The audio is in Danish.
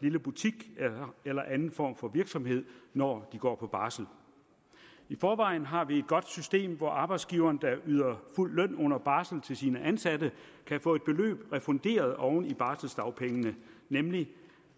lille butik eller anden form for virksomhed når de går på barsel i forvejen har vi et godt system hvor arbejdsgiveren der yder fuld løn under barsel til sine ansatte kan få et beløb refunderet oven i barseldagpengene nemlig